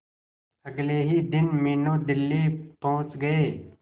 अगले ही दिन मीनू दिल्ली पहुंच गए